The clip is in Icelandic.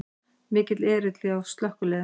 Mikill erill hjá slökkviliðinu